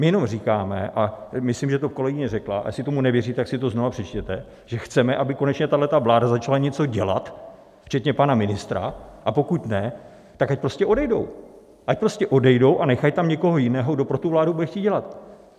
My jenom říkáme a myslím, že to kolegyně řekla, a jestli tomu nevěříte, tak si to znovu přečtěte, že chceme, aby konečně tahle vláda začala něco dělat, včetně pana ministra, a pokud ne, tak ať prostě odejdou, ať prostě odejdou a nechají tam někoho jiného, kdo pro tu vládu bude chtít dělat.